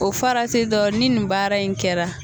O farati dɔ ni nin baara in kun kɛra.